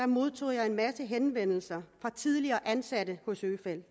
modtog jeg en masse henvendelser fra tidligere ansatte hos øfeldt